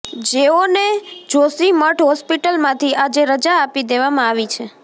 જેઓને જોશીમઠ હોસ્પિટલમાંથી આજે રજા આપી દેવામાં આવી છે